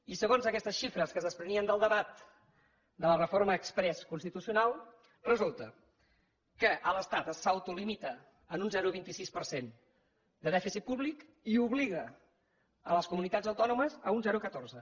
i segons aquestes xifres que es desprenien del debat de la reforma exprés constitucional resulta que l’estat s’autolimita en un zero coma vint sis per cent de dèficit públic i obliga les comunitats autònomes a un zero coma catorze